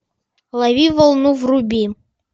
лови волну вруби